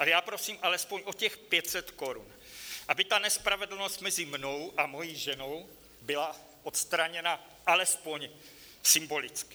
Ale já prosím alespoň o těch 500 korun, aby ta nespravedlnost mezi mnou a mojí ženou byla odstraněna alespoň symbolicky.